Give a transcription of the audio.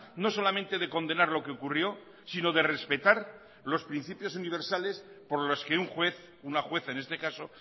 no solamente de condenar lo que ocurrió sino de respetar los principios universales por los que un juez una juez en este caso